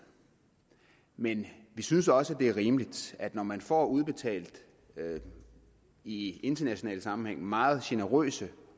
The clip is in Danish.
men vi synes også at det er rimeligt når man får udbetalt i internationalt sammenhæng meget generøse